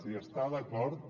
hi està d’acord